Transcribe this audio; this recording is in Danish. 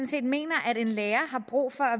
set mener at en lærer har brug for at